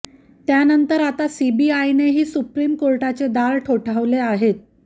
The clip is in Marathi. त्यानंतर आता सीबीआयनेही सुप्रीम कोर्टाचे दार ठोठावले आहेत